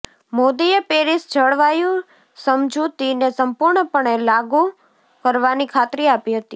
મોદીએ પેરિસ જળવાયુ સમજૂતિને સંપૂર્ણપણે લાગ્ાૂ કરવાની ખાતરી આપી હતી